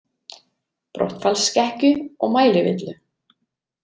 Brottfallsskekkju og mælivillu.